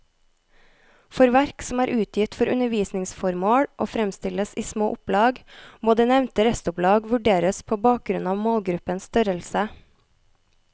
For verk som er utgitt for undervisningsformål og fremstilles i små opplag, må det nevnte restopplag vurderes på bakgrunn av målgruppens størrelse.